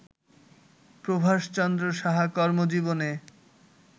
প্রভাষ চন্দ্র সাহা কর্মজীবনে